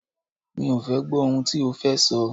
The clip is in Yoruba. Mi ò fẹ́ gbọ́ ohun tí o fẹ́ sọ!